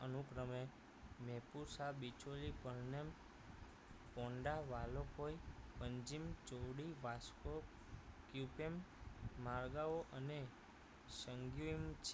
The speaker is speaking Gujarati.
અનુક્રમે મૈપુર શાહ બિછોલી પરનેમ પોંડાવાલોપોઈ પંજીમ ચોવડી વાસ્કો પ્યુપેમ મર્ગાવો સંગ્યુઇમ